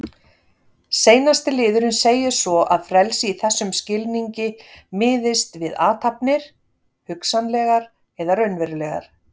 Seinasti liðurinn segir svo að frelsi í þessum skilningi miðist við athafnir, hugsanlegar eða raunverulegar.